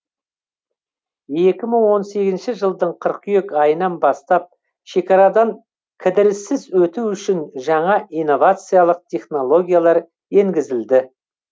екі мың он сегізінші жылдың қыркүйек айынан бастап шекарадан кідіріссіз өту үшін жаңа инновациялық технологиялар енгізілді